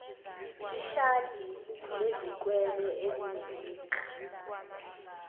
ishadi lezikwele ezinemigqa